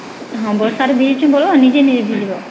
ହଁ ବର୍ଷା ର ଭିଜିଚ ବୋଲେ ନିଜେ ନିଜେ ଭିଜିଲ